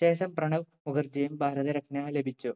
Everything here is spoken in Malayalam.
ശേഷം പ്രണവ് മുഖർജിയും ഭാരതരത്‌ന ലഭിച്ചു